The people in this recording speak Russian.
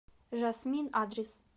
жасмин адрес